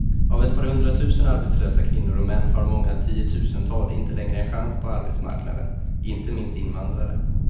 Av ett par hundratusen arbetslösa kvinnor och män har många tiotusental inte längre en chans på arbetsmarknaden, inte minst invandrare.